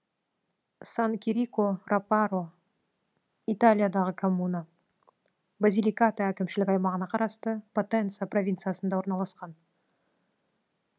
сан кирико рапаро италиядағы коммуна базиликата әкімшілік аймағына қарасты потенца провинциясында орналасқан